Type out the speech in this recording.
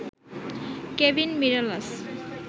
Kevin Mirallas